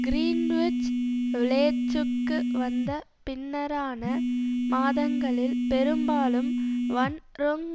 Greenwich விலேச்சுக்கு வந்த பின்னரான மாதங்களில் பெரும்பாலும் வன் ரொங்